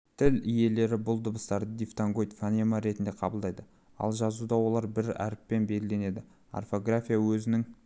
тіл иелері бұл дыбыстарды дифтонгоид фонема ретінде қабылдайды ал жазуда олар бір әріппен белгіленеді орфография өзінің